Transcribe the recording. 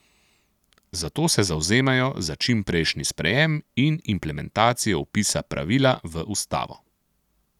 Zato se zavzemajo za čimprejšnji sprejem in implementacijo vpisa pravila v ustavo.